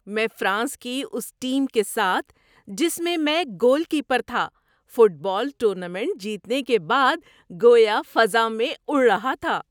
میں فرانس میں اس ٹیم کے ساتھ، جس میں میں گول کیپر تھا، فٹ بال ٹورنامنٹ جیتنے کے بعد گویا فضا میں اڑ رہا تھا۔